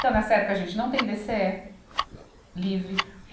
Então, nessa época, a gente não tem DêCêé livre.